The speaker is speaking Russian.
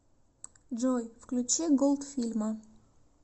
джой включи голдфильма